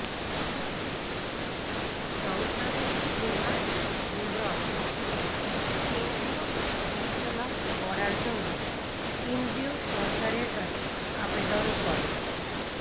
সংসদে কুনার হেমব্রম কেন্দ্রীয় বিদ্যালয় করার জন্য কেন্দ্রীয় সরকারের কাছে আবেদনে করেন